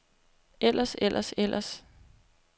ellers ellers ellers